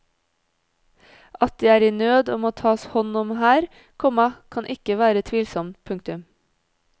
At de er i nød og må tas hånd om her, komma kan ikke være tvilsomt. punktum